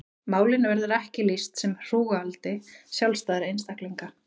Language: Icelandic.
Málinu verður ekki lýst sem hrúgaldi sjálfstæðra eininga.